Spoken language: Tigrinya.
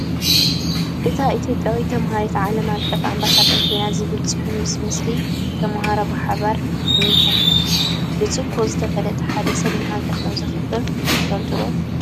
እታ ኢትዮጵያዊት ተመሃሪት ዓለም ኣቀፍ ኣምባሳደር ኮይና ዝብል ፅሑፍ ምስ ምስሊ ተመሃሮ ብሓባር እኒሐ፡፡ ብፅቡቕ ዝተፈለጠ ሓደ ሰብ ንሃገር ከምዘኽብር ትፈልጡ ዶ?